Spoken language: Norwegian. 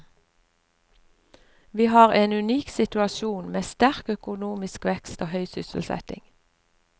Vi har en unik situasjon med sterk økonomisk vekst og høy sysselsetting.